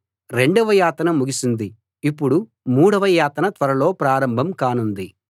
రెండవ యాతన ముగిసింది ఇప్పుడు మూడవ యాతన త్వరలో ప్రారంభం కానుంది